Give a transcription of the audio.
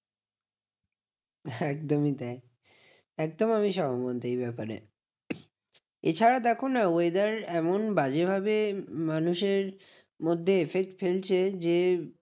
একদমই তাই। একদম আমি সহমত এই ব্যাপারে। এছাড়া দেখো না? weather এমন বাজে ভাবে মানুষের মধ্যে effect ফেলছে, যে